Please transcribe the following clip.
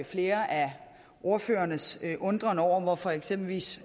flere af ordførernes undren over hvorfor eksempelvis